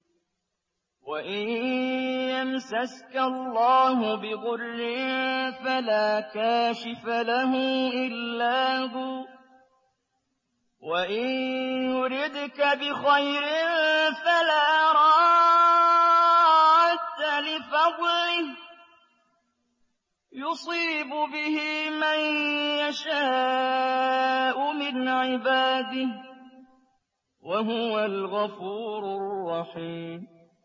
وَإِن يَمْسَسْكَ اللَّهُ بِضُرٍّ فَلَا كَاشِفَ لَهُ إِلَّا هُوَ ۖ وَإِن يُرِدْكَ بِخَيْرٍ فَلَا رَادَّ لِفَضْلِهِ ۚ يُصِيبُ بِهِ مَن يَشَاءُ مِنْ عِبَادِهِ ۚ وَهُوَ الْغَفُورُ الرَّحِيمُ